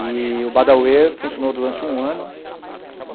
E o Badauê funcionou durante um ano.